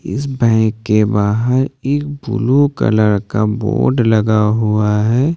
इस बैंक के बाहर एक ब्लू कलर का बोर्ड लगा हुआ है।